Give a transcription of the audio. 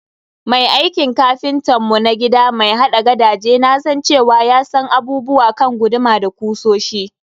Mai aikin kapintan mu na gida mai haɗa gadaje nasan cewa ya san abubuwa kan guduma da kusoshi.